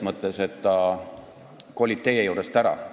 Ta kolib teie juurest ära.